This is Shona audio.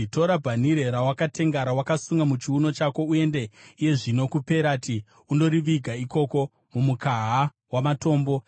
“Tora bhanhire rawakatenga, rawakasunga muchiuno chako uende iye zvino kuPerati undoriviga ikoko mumukaha wamatombo.”